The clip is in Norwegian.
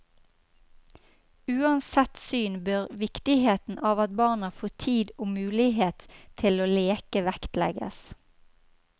Uansett syn bør viktigheten av at barna får tid og mulighet til å leke vektlegges.